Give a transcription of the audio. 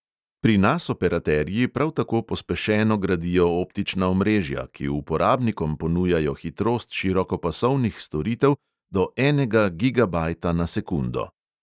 Pri nas operaterji prav tako pospešeno gradijo optična omrežja, ki uporabnikom ponujajo hitrost širokopasovnih storitev do enega gigabajta na sekundo.